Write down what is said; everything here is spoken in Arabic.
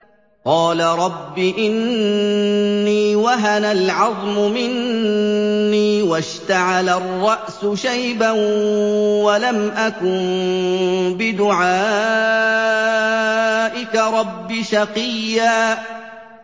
قَالَ رَبِّ إِنِّي وَهَنَ الْعَظْمُ مِنِّي وَاشْتَعَلَ الرَّأْسُ شَيْبًا وَلَمْ أَكُن بِدُعَائِكَ رَبِّ شَقِيًّا